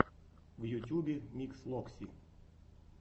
в ютюбе микс локси